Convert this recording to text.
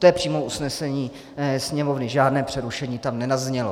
To je přímo usnesení Sněmovny, žádné přerušení tam nezaznělo.